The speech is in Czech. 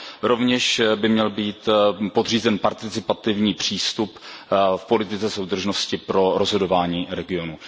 Rovněž by měl být podřízen participativní přístup v politice soudržnosti pro rozhodování regionů.